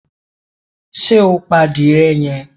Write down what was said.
Ṣe o pa adiye yẹn?